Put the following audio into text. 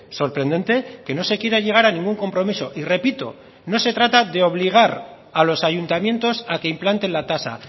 sorprendente que no se quiera llegar a ningún compromiso y repito no se trata de obligar a los ayuntamientos a que implanten la tasa